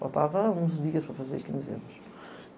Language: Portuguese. Faltava uns dias para fazer quinze anos.